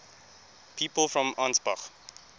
people from ansbach